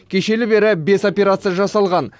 кешелі бері бес операция жасалған